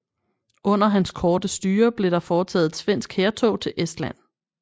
Under hans korte styre blev der foretaget et svensk hærtog til Estland